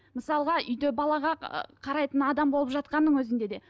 мысалға үйде балаға қарайтын адам болып жатқанның өзінде де